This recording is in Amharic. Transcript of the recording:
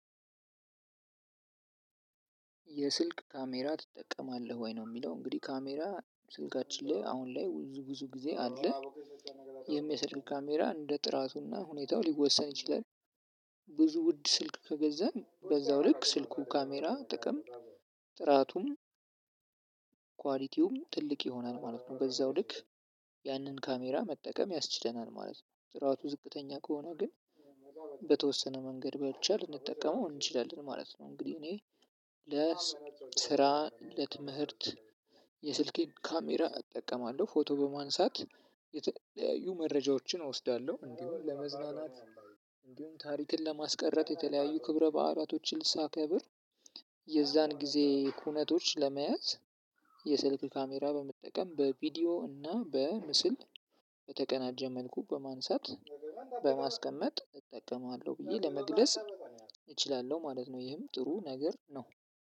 የስልክ ካሜራ ትጠቀማለህ ወይ ነው ሚለው? እንግዲህ ካሜራ ስልካችን ላይ አሁን ላይ ብዙን ግዜ አለ። ይህም የስልክ ካሜራ እንደ ጥራቱና ሁኔታው ሊወሰን ይችላል። ብዙ ውድ ስልክ ከገዛን በዛው ልክ ስልኩ ካሜራ ጥቅም። ጥራቱም ኳሊቲውም ትልቅ ይሆናል ማለት ነው። በዛው ልክ ያንን ካሜራ መጠቀም ያስችለናል ማለት ነው። ጥራቱ ዝቅተኛ ከሆነ ግን። በተወሰነ መንገድ በቻልን ልንጠቀመው እንችላለን ማለት ነው። እንግዲህ እኔ ለስራ ለትምህርት የስልኬን ካሜራ እጠቀማለሁ ፎቶ በማንሳት የተለያዩ መረጃዎችን እወስዳለሁ። እንዲሁም ለመዝናናት እንዲሁም ታሪክን ለማስቀረት የተለያዩ ክብረ ባህላቶችን ሳከብር። የዛን ጊዜ ኩነቶች ለመያዝ። የስልክ ካሜራ በመጠቀም በቪዲዮ እና በምስል በተቀናጀ መልኩ በማንሳት በማስቀመጥ እጠቀማለሁ። ብዬ ለመግለጽ እችላለሁ ማለት ነው። ይህም ጥሩ ነገር ነው።